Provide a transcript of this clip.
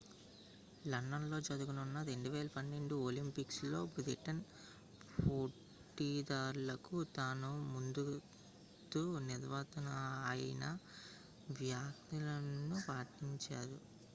London లో జరగనున్న 2012 Olympics లో బ్రిటన్ పోటీదారులకు తాను మద్దతు నిస్తున్నానని ఆయన వ్యాఖ్యానించినప్పటికీ